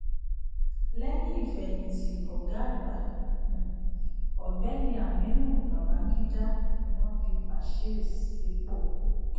lẹyìn ìfẹyìti ọgá àgbà um ọgbẹni aminu babangida ni wón fi bashirs sípò